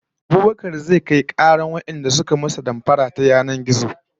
Abubakar zai kai karar wadanda suka masa damfara ta yanar gizo